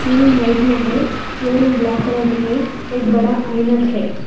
Ceiling white में है flooring black colour में है एक बड़ा ऐनक है।